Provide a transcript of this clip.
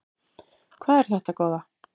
Hvað er þetta góða!